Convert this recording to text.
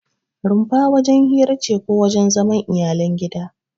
Rumfa wajen hira ce ko wajen zaman iyalan gida.